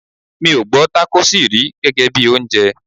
Mi ò gbọ́ Tákósì rí gẹ́gẹ́bí oúnjẹ.